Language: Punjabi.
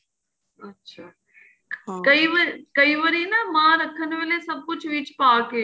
ਅੱਛਾ ਕਈ ਵਾਰੀ ਕਈ ਵਾਰੀ ਨਾ ਮਹਾਂ ਰੱਖਣ ਵੇਲੇ ਸਭ ਕੁੱਛ ਵਿੱਚ ਪਾਕੇ